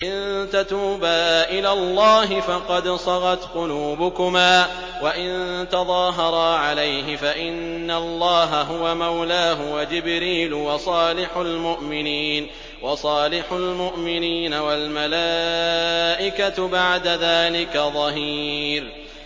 إِن تَتُوبَا إِلَى اللَّهِ فَقَدْ صَغَتْ قُلُوبُكُمَا ۖ وَإِن تَظَاهَرَا عَلَيْهِ فَإِنَّ اللَّهَ هُوَ مَوْلَاهُ وَجِبْرِيلُ وَصَالِحُ الْمُؤْمِنِينَ ۖ وَالْمَلَائِكَةُ بَعْدَ ذَٰلِكَ ظَهِيرٌ